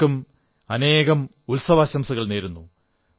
എല്ലാവർക്കും അനേകം ഉത്സവാശംസകൾ നേരുന്നു